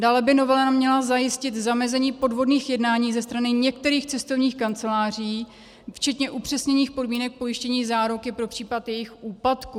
Dále by novela měla zajistit zamezení podvodným jednáním ze strany některých cestovních kanceláří včetně upřesněných podmínek pojištění záruky pro případ jejich úpadku.